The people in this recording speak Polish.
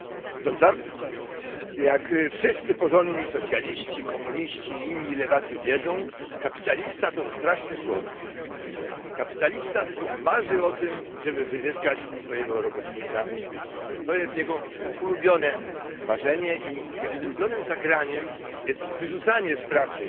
Pani Przewodnicząca! Jak wszyscy porządni socjaliści, komuniści i inni lewacy wiedzą, kapitalista to straszny człowiek. Kapitalista tylko marzy o tym, żeby wyzyskać swojego robotnika. To jest jego ulubione marzenie i jego ulubionym zagraniem jest wyrzucanie z pracy